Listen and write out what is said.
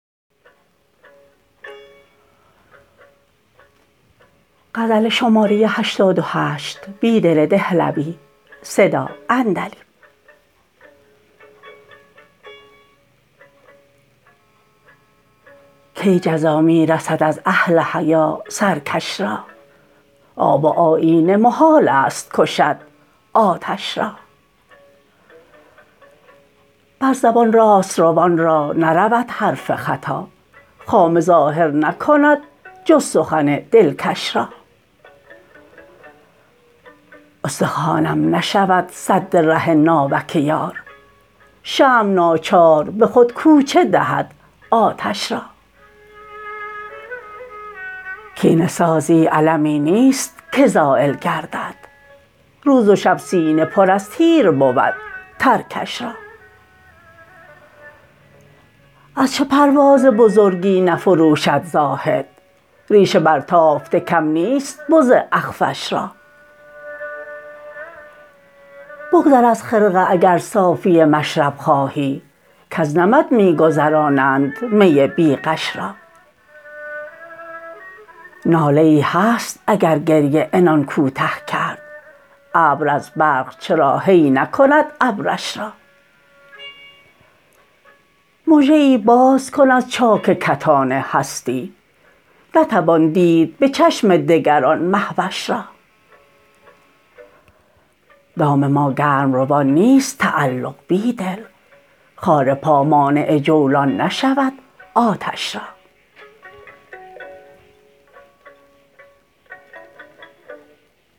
کی جزا می رسد از اهل حیا سرکش را آب آیینه محال است کشد آتش را بر زبان راست روان را نرود حرف خطا خامه ظاهر نکند جز سخن دلکش را استخوانم نشود سد ره ناوک یار شمع ناچار به خودکوچه دهد آتش را کینه سازی المی نیست که زایل گردد روزوشب سینه پرازتیر بود ترکش را از چه پرواز بزرگی نفروشد زاهد ریش برتافته کم نیست بزاخفش را بگذر از خرقه اگر صافی مشرب خواهی کز نمد می گذرانند می بیغش را ناله ای هست اگرگریه عنان کوته کرد ابر ازبرق چرا هی نکند ابرش را مژه ای بازکن از چاک کتان هستی نتوان دید به چشم دگرآن مهوش را دام ماگرم روان نیست تعلق بیدل خارپا مانع جولان نشود آتش را